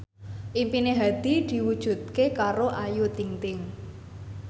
impine Hadi diwujudke karo Ayu Ting ting